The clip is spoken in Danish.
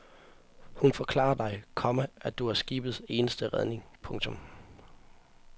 Hun forklarer dig, komma at du er skibets eneste redning. punktum